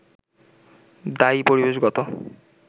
দায়ী পরিবেশগত